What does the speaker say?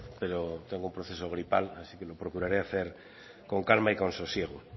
pero tengo un proceso gripal así que lo procuraré hacer con calma y con sosiego